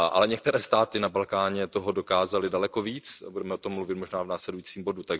Některé státy na Balkáně toho ale dokázaly daleko více, budeme o tom mluvit možná v následujícím bodě.